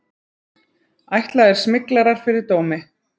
Ætlaðir smyglarar fyrir dómi